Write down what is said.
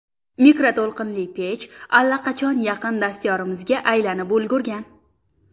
Mikroto‘lqinli pech allaqachon yaqin dastyorimizga aylanib ulgurgan.